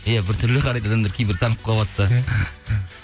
иә біртүрлі қарайды адамдар кейбір танып қалыватса